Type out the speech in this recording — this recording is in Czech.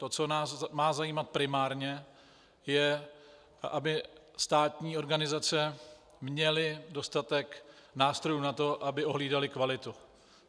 To, co nás má zajímat primárně, je, aby státní organizace měly dostatek nástrojů na to, aby ohlídaly kvalitu.